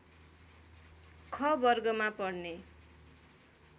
ख वर्गमा पर्ने